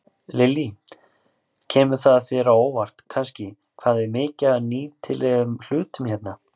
Lillý: Kemur það þér á óvart kannski hvað er mikið af nýtilegum hlutum hérna?